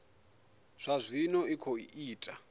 zwa zwino i khou ita